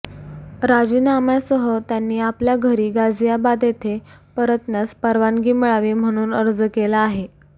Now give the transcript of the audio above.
राजीनाम्यासह त्यांनी आपल्या घरी गाझियाबाद येथे परतण्यास परवानगी मिळावी म्हणून अर्ज केला आहे